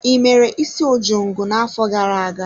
I mere isi ojongo na-afọ gara-aga?